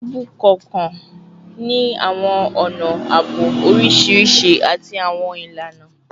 Iru tubu kọọkan ni awọn ọna aabo oriṣiriṣi ati awọn ilana